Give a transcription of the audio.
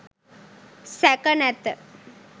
සැක නැත